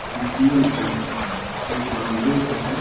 एक laundry shop है।